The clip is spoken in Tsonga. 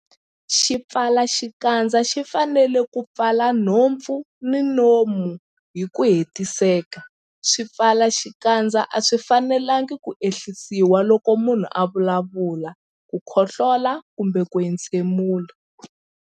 Xipfalaxikandza xi fanele ku pfala nhompfu na nomo hi ku hetiseka. Swipfalaxikandza a swi fanelanga ku ehlisiwa loko munhu a vulavula, khohlola kumbe ku entshemula.